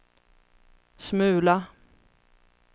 smula